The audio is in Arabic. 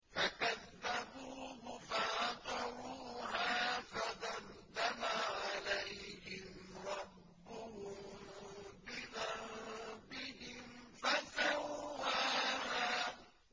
فَكَذَّبُوهُ فَعَقَرُوهَا فَدَمْدَمَ عَلَيْهِمْ رَبُّهُم بِذَنبِهِمْ فَسَوَّاهَا